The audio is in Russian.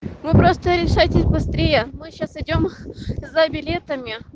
вы просто решайтесь быстрее мы сейчас идём за билетами